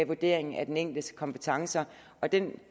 vurdering af den enkeltes kompetencer og den